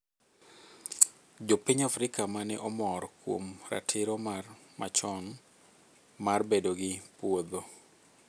Jo piny Afrika mane omor kuom ratiro mar machon mar bedo gi puodho